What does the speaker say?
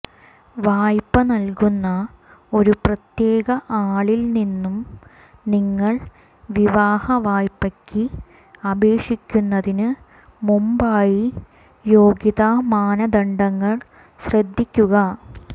വായ്പ നൽകുന്ന ഒരു പ്രത്യേക ആളിൽ നിന്നും നിങ്ങൾ വിവാഹ വായ്പയ്ക്ക് അപേക്ഷിക്കുന്നതിന് മുമ്പായി യോഗ്യതാ മാനദണ്ഡങ്ങൾ ശ്രദ്ധിക്കുക